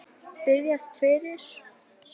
Biðjast fyrir?